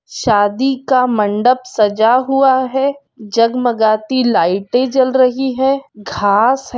शादी का मंडप सजा हुआ है जगमगाती लाइटें जल रही हैं घांस है।